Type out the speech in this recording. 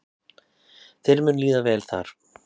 Þér mun líða vel þar.